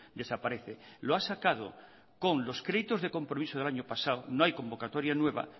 desaparece lo ha sacado con los créditos de compromiso del año pasado no hay convocatoria nueva